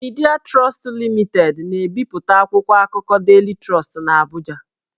Midịa Trọstụ Limitedị na-ebipụta akwụkwọ akụkọ Daily Trust n'Abụja